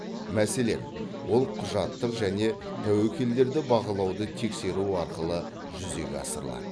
мәселен ол құжаттық және тәуекелдерді бағалауды тексеру арқылы жүзеге асырылады